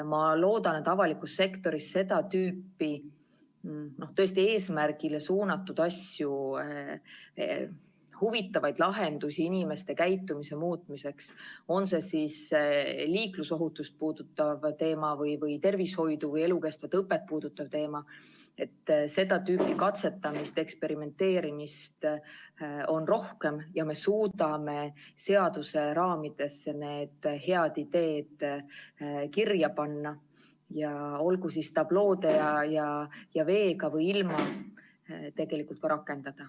Ma loodan, et avalikus sektoris seda tüüpi, tõesti eesmärgile suunatud asju, huvitavaid lahendusi inimeste käitumise muutmiseks, on see siis liiklusohutust või tervishoidu või elukestvat õpet puudutav teema, seda tüüpi katsetamist, eksperimenteerimist on rohkem ja me suudame need head ideed seaduse raamidesse kirja panna ja tegelikult ka rakendada, olgu siis tabloo ja veega või ilma.